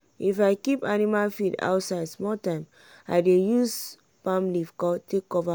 if i keep animal feed outside small time i dey use palm leaf take cover am.